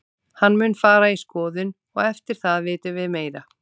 Hann mun fara í skoðun og eftir það vitum við meira.